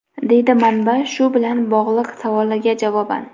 deydi manba shu bilan bog‘liq savolga javoban.